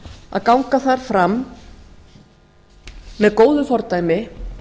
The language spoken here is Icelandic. að ganga þar fram með góðu fordæmi